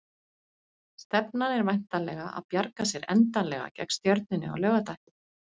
Stefnan er væntanlega að bjarga sér endanlega gegn Stjörnunni á laugardaginn?